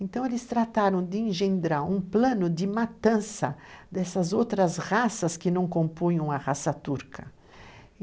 Então, eles trataram de engendrar um plano de matança dessas outras raças que não compunham a raça turca.